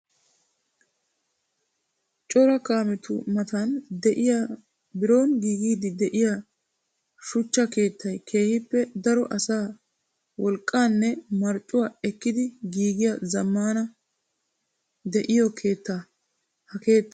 Cora kaametu matan de'iya biron giigiidde de'iya suchcha keettay keehippe daro asaa wolqqanne marccuwaa ekkidi giigiya zamaana de'iyo keetta. Ha keettay daro zali'iyassikka maadees.